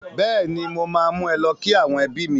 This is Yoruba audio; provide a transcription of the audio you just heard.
Bẹ́ẹ̀ni mo máa mú ẹ lọ kí àwọn ẹbí mi